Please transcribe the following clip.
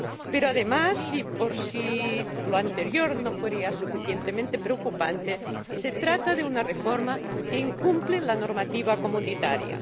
Pero además, y por si lo anterior no fuera ya suficientemente preocupante, se trata de una reforma que incumple la normativa comunitaria.